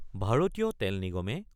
ভাৰতীয় তেল নিগমে